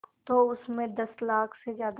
तो उस में दस लाख से ज़्यादा